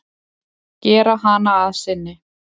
Gera hana að sinni.